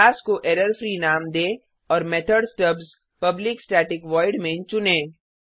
class को error free नाम दें और method stubs public static void main चुनें